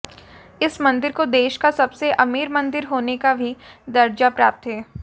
इस मंदिर को देश का सबसे अमीर मंदिर होने का भी दर्जा प्राप्त है